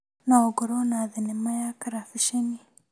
No ngorwo na thinema ya karabisheni.